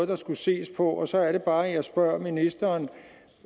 der skulle ses på så er det bare jeg spørger ministeren